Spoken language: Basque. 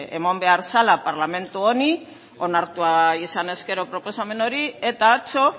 eman behar zela parlamentu honi onartua izan ezkero proposamen hori eta atzo